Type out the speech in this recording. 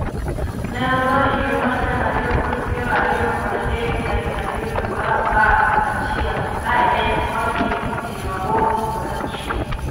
Ne otho e higa mar gana ariyo kod piero ariyo kod adek tarik ariyo due mar apar kod achiel ka en kod higni piero aboro kod auchiel